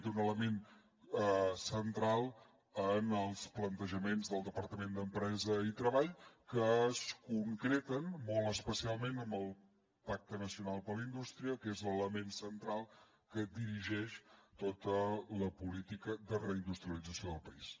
té un element central en els plantejaments del departament d’empresa i treball que es concreten molt especialment amb el pacte nacional per a la indústria que és l’element central que dirigeix tota la política de reindustrialització del país